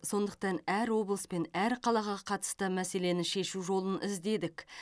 сондықтан әр облыс пен әр қалаға қатысты мәселені шешу жолын іздедік